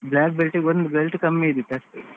Black belt ಇಗೆ ಒಂದು belt ಕಮ್ಮಿ ಇದ್ದಿತ್ತು ಅಷ್ಟೇ.